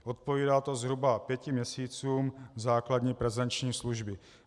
Odpovídá to zhruba pěti měsícům základní prezenční služby.